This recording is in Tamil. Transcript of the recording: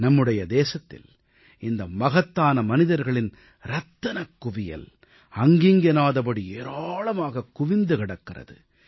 நம்முடைய தேசத்தில் இந்த மகத்தான மனிதர்களின் ரத்தினக் குவியல் அங்கிங்கெனாதபடி ஏராளமாகக் குவிந்து கிடக்கிறது